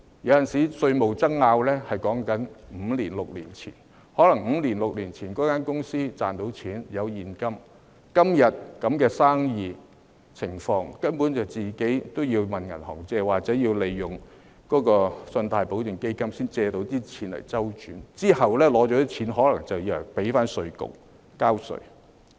有時候，稅務爭議所牽涉的是五六年前的事；可能五六年前，公司賺錢有現金，但今天這樣的生意環境，根本已經要向銀行借貸，或利用信貸保證基金，才能借錢周轉，借錢後可能便要向稅務局交稅。